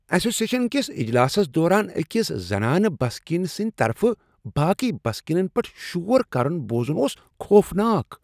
Association کس اجلاسس دوران أکس زنانہٕ بسکینن سٕندۍ طرفہٕ باقی بسکینن پیٹھ شور کرُن بوزن اوس خوفناک۔